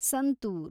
santoor